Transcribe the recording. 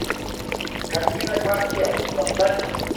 картина квартет поставь ка